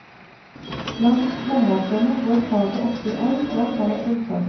Blant håndverkerne går faget ofte i arv fra far til sønn.